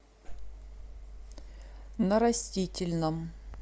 на растительном